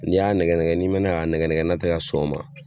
N'i y'a nɛgɛnɛgɛ n'i mɛnna k'a nɛgɛnɛgɛ n'a tɛ ka sɔn o ma.